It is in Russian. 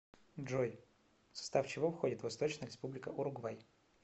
джой в состав чего входит восточная республика уругвай